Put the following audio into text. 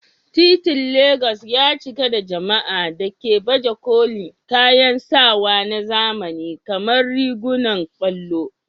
Titin Legas ya cika da jama'a da ke baje kolin kayan sawa na zamani kamar rigunan ƙwallo.